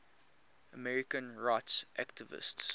americans rights activists